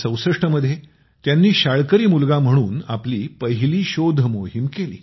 1964 मध्ये त्यांनी शाळकरी मुलगा म्हणून आपली पहिली शोध मोहीम केली